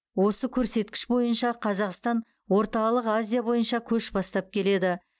осы көрсеткіш бойынша қазақстан орталық азия бойынша көш бастап келеді